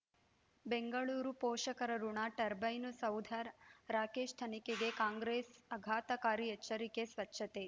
ಬೆಂಗಳೂರು ಪೋಷಕರಋಣ ಟರ್ಬೈನು ಸೌಧ ರಾಕೇಶ್ ತನಿಖೆಗೆ ಕಾಂಗ್ರೆಸ್ ಆಘಾತಕಾರಿ ಎಚ್ಚರಿಕೆ ಸ್ವಚ್ಛತೆ